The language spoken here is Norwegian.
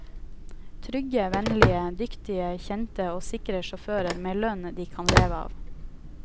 Trygge, vennlige, dyktige, kjente og sikre sjåfører med lønn de kan leve av.